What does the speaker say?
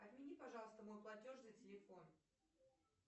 отмени пожалуйста мой платеж за телефон